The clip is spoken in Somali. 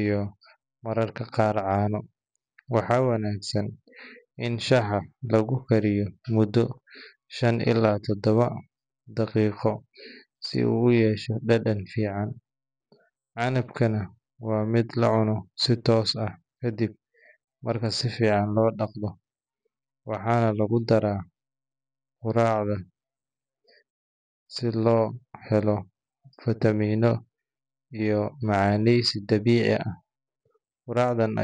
iyo mararka qaar caano. Waxaa wanaagsan in shaaha lagu kariyo muddo shan ilaa toddoba daqiiqo si uu u yeesho dhadhan fiican. Canabkana waa mid la cuno si toos ah kadib marka si fiican loo dhaqdo. Waxaa lagu daraa quraacda si loo helo fitamiinno iyo macaaneeysi dabiici ah. Quraacdan ayaa.